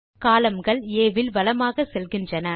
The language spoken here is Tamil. columnகள் ஆ வில் வலமாக செல்கின்றன